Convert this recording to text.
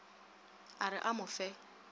a re a mo fe